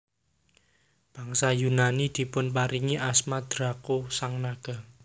Bangsa Yunani dipunparingi asma Draco sang naga